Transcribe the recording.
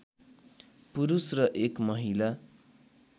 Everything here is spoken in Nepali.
पुरुष र एक महिला